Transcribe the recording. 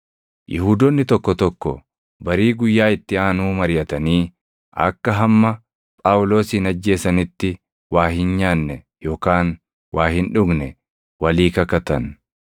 Yihuudoonni tokko tokko barii guyyaa itti aanuu mariʼatanii akka hamma Phaawulosin ajjeesanitti waa hin nyaanne yookaan waa hin dhugne walii kakatan.